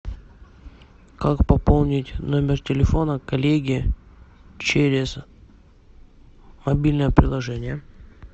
как пополнить номер телефона коллеги через мобильное приложение